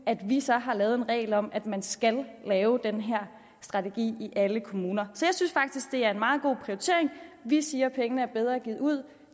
at vi så har lavet en regel om at man skal lave den her strategi i alle kommuner så jeg synes faktisk det er en meget god prioritering at vi siger at pengene er bedre givet ud